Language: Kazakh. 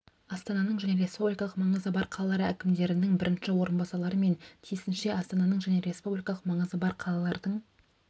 астананың және республикалық маңызы бар қалалар әкімдерінің бірінші орынбасарлары мен тиісінше астананың және республикалық маңызы бар қалалардың